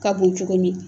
Ka bon cogo min